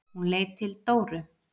Hún leit til Dóru.